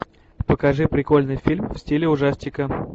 покажи прикольный фильм в стиле ужастика